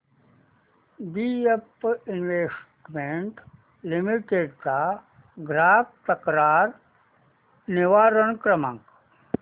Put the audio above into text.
BF investment limited चा ग्राहक तक्रार निवारण क्रमांक